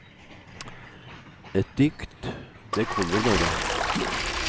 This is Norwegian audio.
Et dikt, det kommer bare.